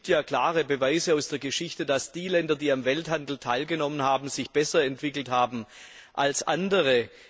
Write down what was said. Es gibt ja klare Beweise aus der Geschichte, dass die Länder, die am Welthandel teilgenommen haben, sich besser entwickelt haben als andere.